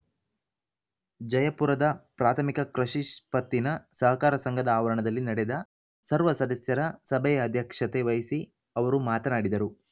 ಜಯಪುರದ ಪ್ರಾಥಮಿಕ ಕೃಷಿ ಪತ್ತಿನ ಸಹಕಾರ ಸಂಘದ ಆವರಣದಲ್ಲಿ ನಡೆದ ಸರ್ವ ಸದಸ್ಯರ ಸಭೆಯ ಅಧ್ಯಕ್ಷತೆ ವಹಿಸಿ ಅವರು ಮಾತನಾಡಿದರು